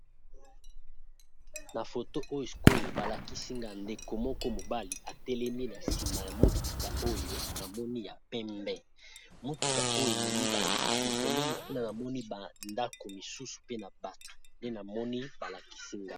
Na foto oyo sikoyo balakisinga ndeko moko mobali etelemi na nsima ya motuka oyo na moni ya pembe, motuka oyo ememi ba nzete pembeni nkuna, namoni bandako mosusu pe na bato nde na moni balakisinga.